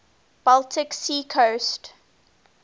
baltic sea coast